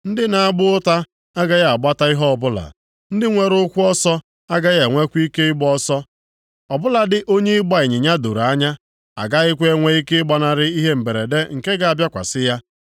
Ndị na-agba ụta agaghị agbata ihe ọbụla, ndị nwere ụkwụ ọsọ agaghị enwekwa ike ịgba ọsọ. Ọ bụladị onye ịgba ịnyịnya doro anya agakwaghị enwe ike ịgbanarị ihe mberede nke ga-abịakwasị ya.